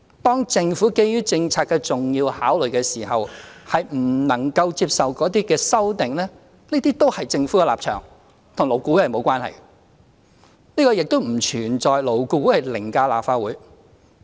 當政府基於政策的重要考慮，不能接受某些修正案時，這都是政府的立場，與勞顧會無關，亦不存在勞顧會凌駕立法會的情況。